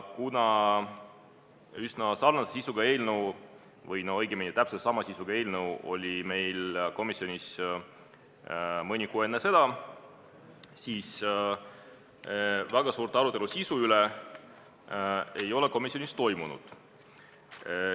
Kuna üsna sarnase või õigemini täpselt sama sisuga eelnõu oli meil komisjonis ka mõni kuu enne seda, siis väga suurt arutelu sisu üle komisjonis ei toimunud.